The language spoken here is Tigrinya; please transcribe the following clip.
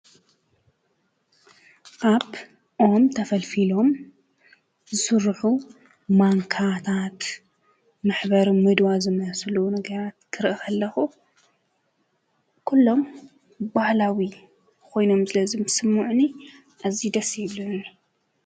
ካብ ኦም ተፈሊፊሎም ዝስርሑ ማንካታት መሕበሪ ምድዋ ዝመስሉ ነገራት ክርኢ ከለኹ ኩሎም ባህላዊ ኰይኖም ስለ ዝስምዑኒ ኣዝዩ ደስ እዮም ይብሉኒ።